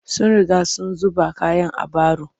Sun riga sun zuba kayan a baro